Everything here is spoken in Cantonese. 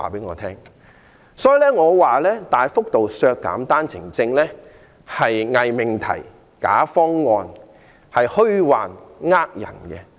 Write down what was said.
我認為大幅度削減單程證是偽命題、假方案，是騙人的虛論。